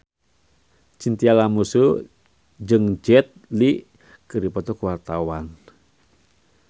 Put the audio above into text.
Chintya Lamusu jeung Jet Li keur dipoto ku wartawan